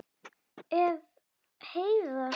Ef. Heiðar